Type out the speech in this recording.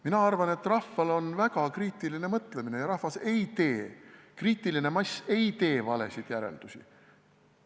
Mina arvan, et rahval on väga kriitiline mõtlemine ja rahvas ei tee, kriitiline mass rahvast ei tee valesid järeldusi.